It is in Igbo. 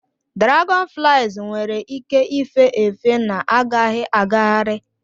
Dragonflies nwere ike ife efe na-agaghị agagharị.